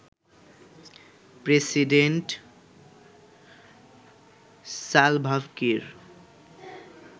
president Salva Kiir